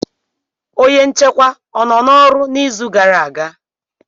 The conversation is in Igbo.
Onye nchekwa o nọ n'ọrụ n'izu gara aga?